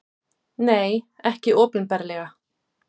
Nei, ekki opinberlega.